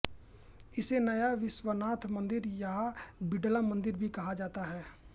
इसे नया विश्वनाथ मन्दिर या बिड़ला मन्दिर भी कहा जाता है